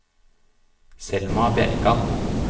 Selma Bjerkan